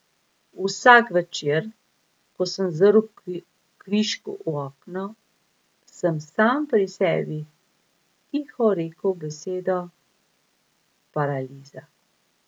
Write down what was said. Vsak večer, ko sem zrl kvišku v okno, sem sam pri sebi tiho rekel besedo paraliza.